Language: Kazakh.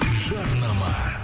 жарнама